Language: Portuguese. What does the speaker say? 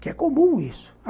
Que é comum isso.